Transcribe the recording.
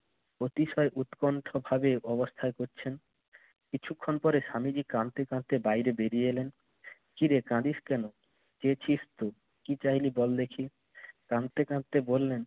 অতিশয় উৎকণ্ঠভাবে অবস্থা করছেন। কিছুক্ষণ পরে স্বামীজি কাঁদতে কাঁদতে বাইরে বেড়িয়ে এলেন। কিরে কাঁদিস কেন? কি চাইলি বল দেখি। কাঁদতে কাঁদতে বললেন